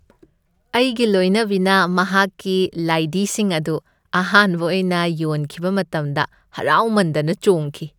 ꯑꯩꯒꯤ ꯂꯣꯏꯅꯕꯤꯅ ꯃꯍꯥꯛꯀꯤ ꯂꯥꯏꯙꯤꯁꯤꯡ ꯑꯗꯨ ꯑꯍꯥꯟꯕ ꯑꯣꯏꯅ ꯌꯣꯟꯈꯤꯕ ꯃꯇꯝꯗ ꯍꯔꯥꯎꯃꯟꯗꯅ ꯆꯣꯡꯈꯤ ꯫